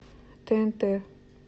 тнт